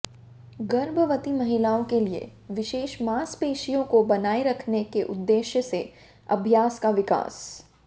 गर्भवती महिलाओं के लिए विशेष मांसपेशियों को बनाए रखने के उद्देश्य से अभ्यास का विकास